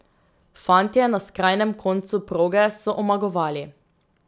Fantje na skrajnem koncu proge so omagovali.